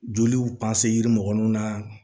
Joliw yiri mɔgɔ nun na